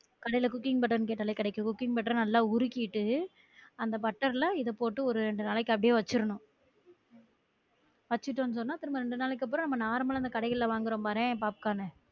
கடையில cooking butter கேட்டாலே கெடைக்குது cooking butter நல்லா உருகிட்டு அந்த butter ல இத போட்டு ஒரு ரெண்டு நாளைக்கு அப்டியே வச்சிரணும் வச்சிட்டோம் சொன்னா திரும்ப ரெண்டு நாளைக்கு அப்புறம் normal அஹ் இந்த கடைகள்ல வாங்குறோம் பாரேன் பாப்கார்ன்